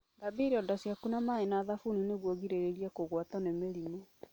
Thambia ironda ciaku na maĩ na thabuni nĩguo ũgirĩrĩrie kũgwatwo nĩ mĩrimũ.